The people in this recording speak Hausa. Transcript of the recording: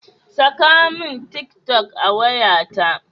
Saka min tik toc a wayata.